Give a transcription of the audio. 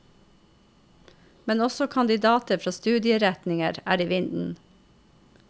Men også kandidater fra studieretninger er i vinden.